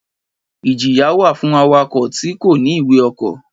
Ìjíya wà fun àwákọ̀ tì kọ̀ní Ìwé ọ̀kọ.